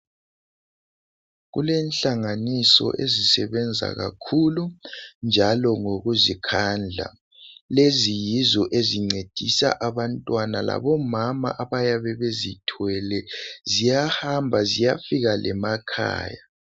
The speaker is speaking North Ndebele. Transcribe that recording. Kulenhlanganiso ezisebenza kakhulu njalo ngokuzikhandla. Lezi yizo ezincedisa abantwana labomama abayabe bezithwele, ziyahamba ziyafika lemakhaya.